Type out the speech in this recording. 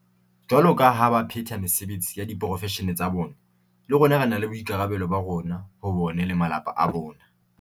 Jwaloka ha ba phetha mesebetsi ya diporofeshene tsa bona, le rona re na le boikarabelo ba rona ho bona le ba malapa a bona.